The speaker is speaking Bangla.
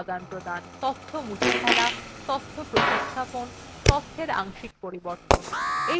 তথ্য মুছে ফেলা তথ্য প্রতিস্থাপন তথ্যের অংশিক পরিবর্তন